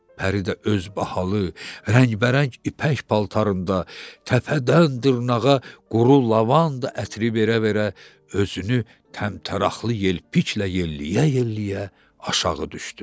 Pəri də öz bahalı, rəngbərəng ipək paltarında təpədən-dırnağa quru lavanda ətri verə-verə özünü təmtəraqlı yelpiklə yelləyə-yelləyə aşağı düşdü.